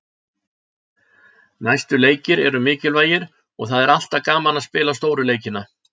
Næstu leikir eru mikilvægir og það er alltaf gaman að spila stóru leikina.